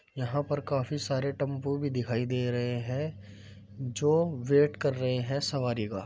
यहाँ पर काफी सारे टेम्पू भी दिखाई दे रहे हैं जो वेट कर रहे हैं सवारी का।